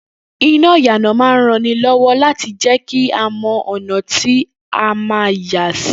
Iná ìyànà máa rán ni lọ́wọ́ láti jẹ́kí a mọ́ ọ̀nà tí ó ma yàsí